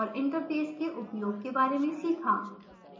interfaces के उपयोग के बारे में सीखा